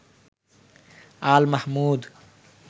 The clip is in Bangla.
আল মাহমুদ